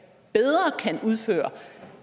udføre